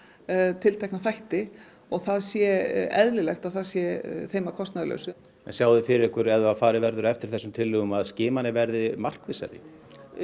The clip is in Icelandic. tiltekna þætti og það sé eðlilegt að það sé þeim að kostnaðarlausu en sjáið þið fyrir ykkur ef farið verður eftir þessum tillögum að skimanir verði markvissari